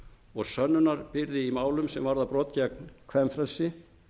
og sönnunarbyrði í málum sem varða brot gegn kvenfrelsi